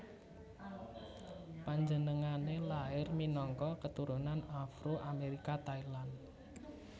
Panjenengané lair minangka keturunan Afro Amérika Thailand